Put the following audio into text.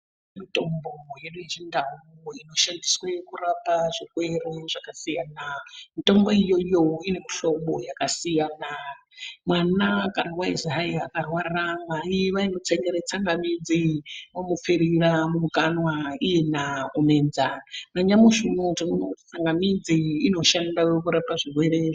Mitombo yedu hechindau inoshandiswe kurape zvirwerw zvakasiyana mitombo iyoyo ine mihlobo yakasiyana mwana wakarwa eizi hai akarwara mwai vaimutsengere tsangamidzi omupfirira mukanwa iyena omedza nanyamushi unowu tinoona kuti tsangamidzi inoshanda kurapa zvirwere zvaka.